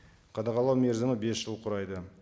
қадағалау мерзімі бес жыл құрайды